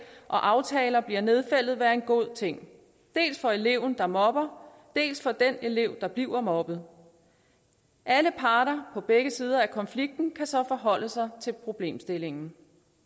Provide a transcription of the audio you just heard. og aftaler bliver nedfældet være en god ting dels for eleven der mobber dels for den elev der bliver mobbet alle parter på begge sider af konflikten kan så forholde sig til problemstillingen